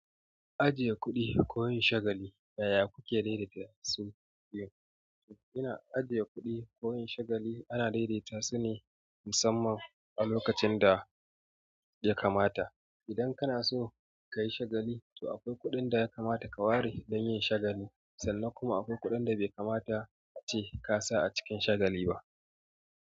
Ajiye kuɗi koyin shagali, yaya kuke daidaita su biyu? Ina ajiye kuɗi koyin shagali ana daidaita su ne musamman a lokacin da ya kamata. Idan kana so ka yi shagali, to akwai kuɗin da ya kamata ka ware dan yin shagali, sannan kuma akwai kuɗin da bai kamata ace ka sa a cikin shagali ba.